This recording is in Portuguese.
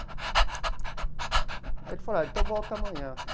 Aí ele falou, ah, então volta amanhã.